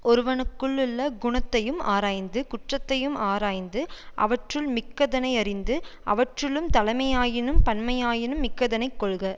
ஒருவனுக்குள்ளுள்ள குணத்தையும் ஆராய்ந்து குற்றத்தையும் ஆராய்ந்து அவற்றுள் மிக்கதனை யறிந்து அவற்றுள்ளும் தலைமையாயினும் பன்மையாயினும் மிக்கதனைக் கொள்க